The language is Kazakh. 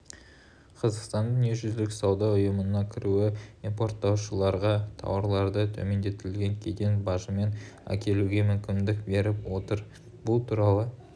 қазақстанның дүниежүзілік сауда ұйымына кіруі импорттаушыларға тауарларды төмендетілген кеден бажымен әкелуге мүмкіндік беріп отыр бұл туралы